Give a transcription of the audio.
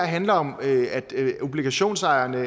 handler om obligationsejerne